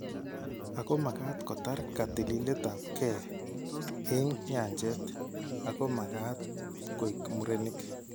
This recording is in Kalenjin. Ago magaat kotar katililet ap gee eng' nyanjet. ako magaat koek murenik.